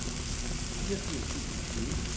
fireogfirs tusind og tyve